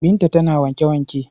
Binta tana wanke-wanke.